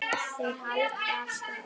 Þeir halda af stað.